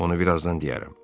Onu birazdan deyərəm.